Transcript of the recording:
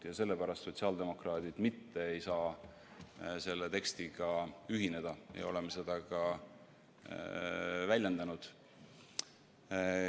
Just selle pärast ei saanud sotsiaaldemokraadid selle tekstiga ühineda ja oleme seda ka väljendanud.